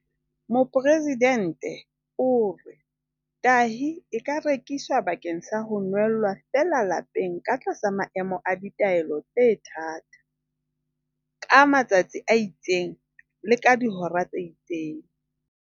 Mopresidente o re, "Tahi e ka rekiswa bakeng sa ho nwella feela lapeng ka tlasa maemo a ditaelo tse thata, ka matsatsi a itseng le ka dihora tse itseng."